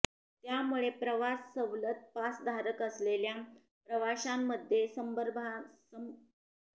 त्यामुळे प्रवास सवलत पास धारक असलेल्या प्रवाशांमध्ये संभ्रमाचं वातावरण आहे